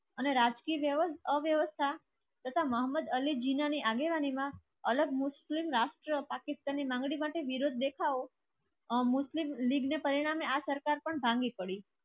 અને રાજકીય વ્યવસ્થા તથા મોહમ્મદ અલી જીનાની આગેવાનીમાં અલગ મુસ્લિમ રાષ્ટ્ર પાકિસ્તાનની માંગણી માટે વિરોધ દેખાવો. પરિણામે આ સરકાર પણ ભાંગી પડી.